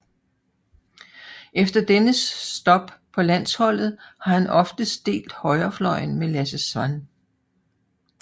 Efter dennes stop på landsholdet har han oftest delt højrefløjen med Lasse Svan